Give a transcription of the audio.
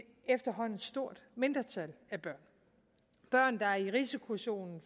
efterhånden stort mindretal af børn børn der er i risikozonen